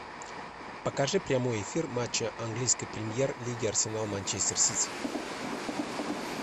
покажи прямой эфир матча английской премьер лиги арсенал манчестер сити